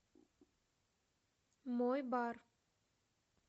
мой бар